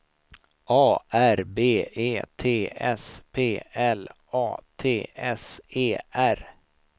A R B E T S P L A T S E R